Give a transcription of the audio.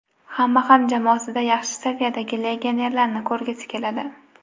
Hamma ham jamoasida yaxshi saviyadagi legionerlarni ko‘rgisi keladi.